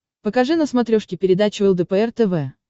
покажи на смотрешке передачу лдпр тв